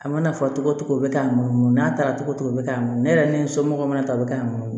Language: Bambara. A mana fɔ togo togo bɛ k'a munumunu n'a taara togo o togo be k'a munu ne yɛrɛ ni n somɔgɔw mana ta o bɛ k'an nunnu ye